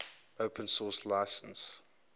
open source license